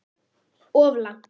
Of langt.